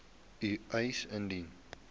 u eis indien